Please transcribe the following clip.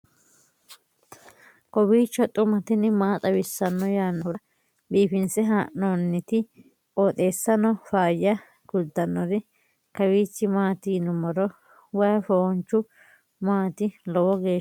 kowiicho xuma mtini maa xawissanno yaannohura biifinse haa'noonniti qooxeessano faayya kultannori kawiichi maat yinummoro way foonchu maati lowo geeshsha biifannoho